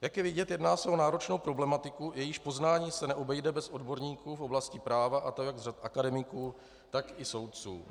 Jak je vidět, jedná se o náročnou problematiku, jejíž poznání se neobejde bez odborníků v oblasti práva, a to jak z řad akademiků, tak i soudců.